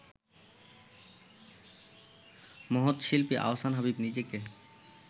মহৎ শিল্পী আহসান হাবীব নিজেকে